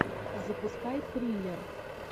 запускай триллер